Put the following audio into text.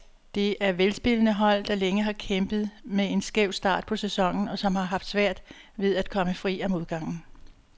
Det er velspillende hold, der længe har kæmpet med en skæv start på sæsonen, og som har haft svært ved at komme fri af modgangen.